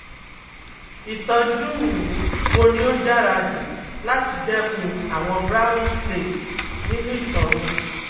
Ìtọ́jú um wo ni ó dára jù láti dẹ́kun àwọn brownish flakes nínú ito mi